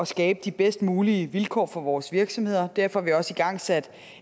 skabe de bedst mulige vilkår for vores virksomheder derfor har vi også igangsat